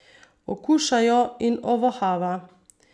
Okuša jo in ovohava.